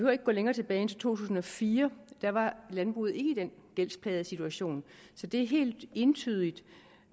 at gå længere tilbage end til to tusind og fire der var landbruget ikke i den gældsplagede situation så det er helt entydigt